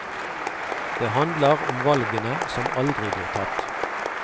Det handler om valgene som aldri blir tatt.